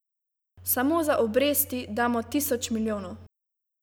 Samo za obresti damo tisoč milijonov!